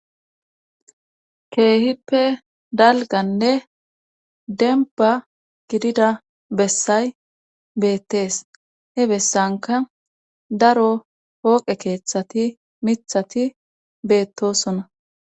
Keehippe dalganne demba gidida bessay beettees he bessanka daro hooqe keeththati mithati beettosona